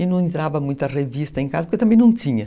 E não entrava muita revista em casa, porque também não tinha.